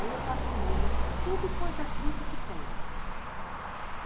Aí eu faço o molho de tudo quanto é fruta que tem.